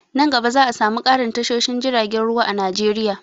Nan gaba za'a samu ƙarin tashoshin jiragen ruwa a Najeriya.